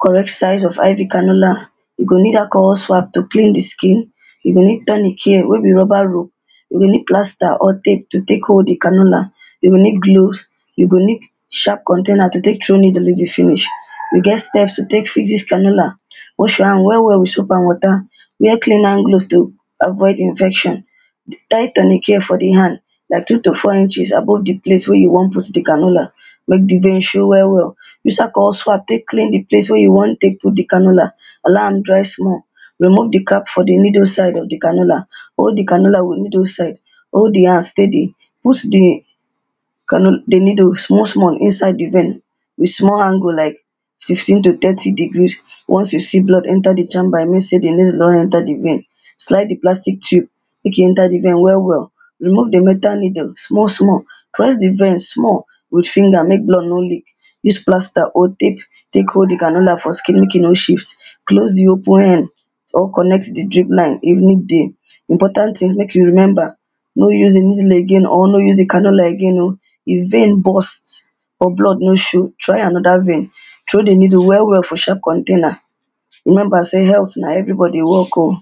correct size of IV canola, you go need alcohol swap to clean the skin, you go need Tournicare wey be rubber rope, you go need plaster or tape to take hold the canola, you go need gloves, you go need sharp container to take throw needle if e finish. We get steps to take fix this canola, wash your hands well well with soap and water, wear clean hand gloves to avoid infection. Tie tournicare for the hand like two to four inches above the place wey you wan put the canola, make the vein show well well, use alcohol swap take clean the place wey you wan take put the canola, allow am dry small, remove the cap for the middle side of the canola, hold the canola with middle side, hold the hand steady, push the canola needle small small inside the vein with small angle like fifteen to thirty degree. Once you see blood enter the chamber e mean say the needle don enter the vein. slide the plastic tube make e enter the vein well well, remove the metal needle small small, press the vein small with finger make blood no leak, use plaster or tape take hold the canola for skin make e no shift, close the open end or connect the drip line if need dey. Important thing make you remember, no use the needle again or no use the canola again o, if vein burst or blood no show try another vein, throw the needle well well for sharp container. Remember say, health na everybody work o.